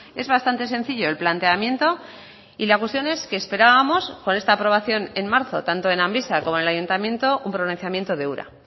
es bastante sencillo el planteamiento y la cuestión es que esperábamos con esta aprobación en marzo tanto en amvisa como en el ayuntamiento un pronunciamiento de ura